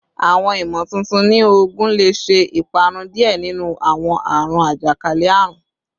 Awọn imotuntun ni oogun le ṣe iparun diẹ ninu awọn aarun ajakalẹ-arun